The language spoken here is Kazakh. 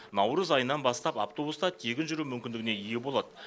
наурыз айынан бастап автобуста тегін жүру мүмкіндігіне ие болады